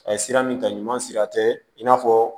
A ye sira min ta ɲuman sira tɛ i n'a fɔ